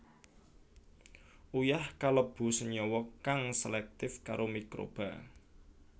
Uyah kalebu senyawa kang selektif karo mikroba